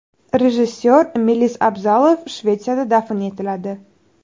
Rejissor Melis Abzalov Shvetsiyada dafn etiladi.